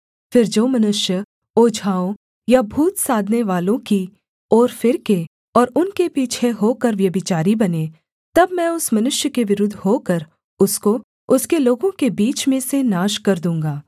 फिर जो मनुष्य ओझाओं या भूत साधनेवालों की ओर फिरके और उनके पीछे होकर व्यभिचारी बने तब मैं उस मनुष्य के विरुद्ध होकर उसको उसके लोगों के बीच में से नाश कर दूँगा